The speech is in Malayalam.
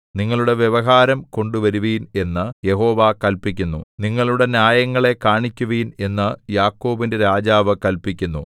നിങ്ങളുടെ വ്യവഹാരം കൊണ്ടുവരുവിൻ എന്നു യഹോവ കല്പിക്കുന്നു നിങ്ങളുടെ ന്യായങ്ങളെ കാണിക്കുവിൻ എന്നു യാക്കോബിന്റെ രാജാവ് കല്പിക്കുന്നു